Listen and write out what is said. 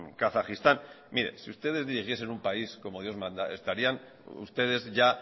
kazajistán mire si ustedes dirigiesen un país como dios manda estarían ustedes ya